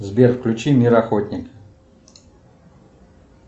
сбер включи мир охотник